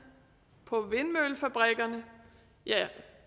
på vindmøllefabrikkerne ja